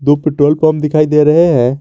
दो petrol pump दिखाई दे रहे हैं।